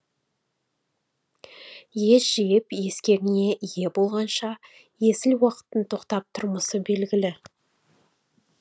ес жиып ескегіңе ие болғанша есіл уақыттың тоқтап тұрмасы белгілі